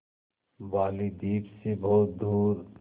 बालीद्वीप सें बहुत दूर